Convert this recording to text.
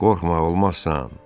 Qorxma, olmazsan,